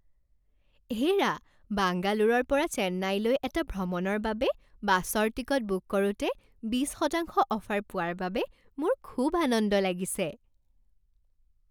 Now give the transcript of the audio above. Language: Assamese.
হে'ৰা! বাংগালোৰৰ পৰা চেন্নাইলৈ এটা ভ্ৰমণৰ বাবে বাছৰ টিকট বুক কৰোঁতে বিশ শতাংশ অফাৰ পোৱাৰ বাবে মোৰ খুব আনন্দ লাগিছে।